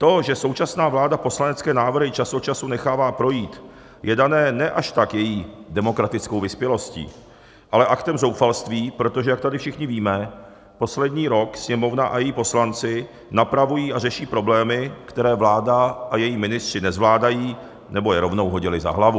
To, že současná vláda poslanecké návrhy čas od času nechává projít, je dáno ne až tak její demokratickou vyspělostí, ale aktem zoufalství, protože jak tady všichni víme, poslední rok Sněmovna a její poslanci napravují a řeší problémy, které vláda a její ministři nezvládají nebo je rovnou hodili za hlavu.